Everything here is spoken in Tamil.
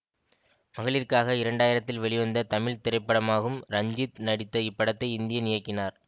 மகளிர்க்காக இரண்டு ஆயிரத்தில் வெளிவந்த தமிழ் திரைப்படமாகும் ரஞ்சித் நடித்த இப்படத்தை இந்தியன் இயக்கினார்